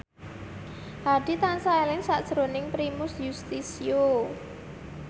Hadi tansah eling sakjroning Primus Yustisio